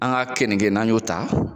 An ga keninge n'an y'o ta